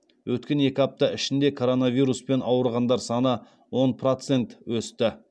өткен екі апта ішінде коронавируспен ауырғандар саны он процент өсті